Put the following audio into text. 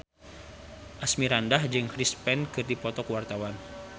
Asmirandah jeung Chris Pane keur dipoto ku wartawan